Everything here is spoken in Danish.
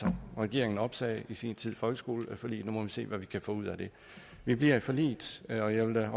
regeringen opsagde i sin tid folkeskoleforliget nu må vi se hvad vi kan få ud af det vi bliver i forliget og jeg vil da